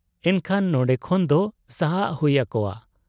ᱮᱱᱠᱷᱟᱱ ᱱᱚᱱᱰᱮ ᱠᱷᱚᱱ ᱫᱚ ᱥᱟᱦᱟᱜ ᱦᱩᱭ ᱟᱠᱚᱣᱟ ᱾